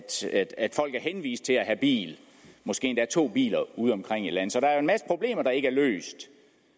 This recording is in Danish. til at have bil måske endda to biler udeomkring i landet så der er jo en masse problemer der ikke er løst